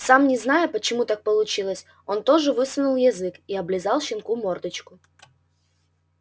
сам не зная почему так получилось он тоже высунул язык и облизал щенку мордочку